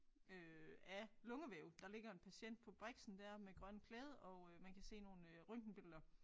Øh af lungevæv. Der ligger en patient på briksen dér med grønt klæde og øh man kan se nogle øh røntgenbilleder